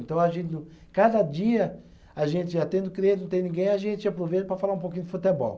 Então a gente não, cada dia, a gente já tendo cliente, não tem ninguém, a gente aproveita para falar um pouquinho de futebol.